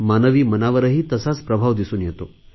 मानवी मनावरही तसाच प्रभाव दिसून येतो